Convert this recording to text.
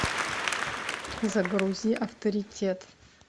загрузи авторитет